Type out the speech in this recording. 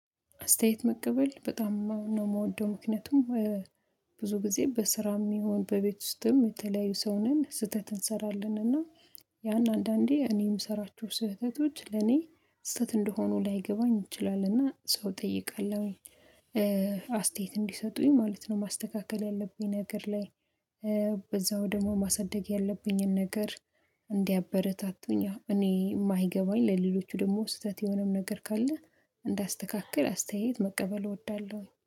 አስተያየት መቀበል በጣም ነው የምወደው። ምክንያቱም ብዙ ጊዜ በስራም ይሁን በቤት ውስጥም የተለያዩ ሰው ነን ስህተት እንሰራለንና። ያን አንዳንዴ እኔ የምሰራችሁ ስህተቶች ለኔ ስህተት እንደሆኑ ላይገባኝ ይችላለን እና ሰው እጠይቃለሁኝ አስተያየት እንዲሰጡኝ ማለት ነው። ማስተካከል ያለብኝ ነገር ላይ በዛው ደግሞ ማሳደግ ያለብኝን ነገር። እንዲያበረታቱኝ እኔ የማይገባኝ ለሌሎቹ ደግሞ ስህተት የሆነም ነገር ካለ እንዳስተካክል አስተያየት መቀበል እወዳለሁኝ